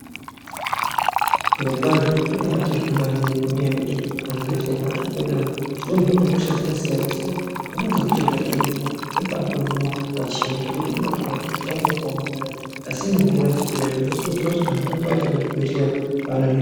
Zviro kwazvo zvinobai tendwa maningi nge nyaya yekuti mu zvibhedhleya matiri kuenda umu tino hinwe hosha dzaka siyana siyana dzimweni dze hosha dzatino hinwa unotobai hinwa yakuto bai hinwa pachena zvekuti uno baito ona kuti hosha yanga yaka omarara asi ino hinwa ichipera zvino kurudzirwa kuti anhu arambe achi ende ku zvibhedhlera vano hinwa.